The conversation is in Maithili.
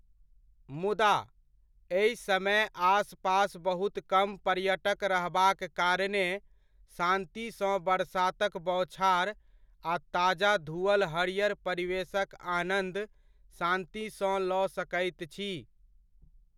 मुदा, एहि समय आसपास बहुत कम पर्यटक रहबाक कारणे शान्ति सँ बरसातक बौछार आ ताजा धुअल हरियर परिवेशक आनन्द शान्ति सँ लऽ सकैत छी।